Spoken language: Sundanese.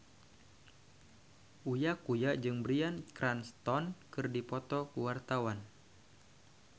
Uya Kuya jeung Bryan Cranston keur dipoto ku wartawan